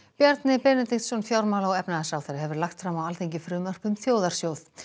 Bjarni Benediktsson fjármála og efnahagsráðherra hefur lagt fram á Alþingi frumvarp um þjóðarsjóð